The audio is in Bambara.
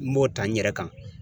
N b'o ta n yɛrɛ kan.